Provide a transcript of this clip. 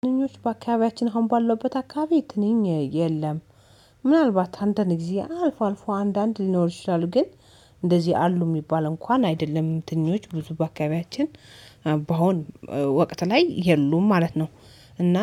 ትንኞች በአካባቢያችን አሁን ባለውበት አካባቢ ትንኝ የለም። ምናልባት አንዳንድ ጊዜ አልፎ አልፎ አንዳንድ ሊኖር ይችላል። ግን እንደዚህ አሉ የሚባል እንኳን አይደለም። ትንኞች ብዙ በአካባቢያችን በአሁን ወቅት ላይ የሉም ማለት ነው። እና